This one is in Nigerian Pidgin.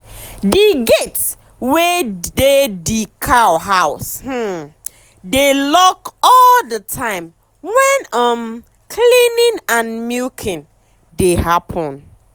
d gate wey dey d cow house um dey lock all d time wen um cleaning and milking dey happen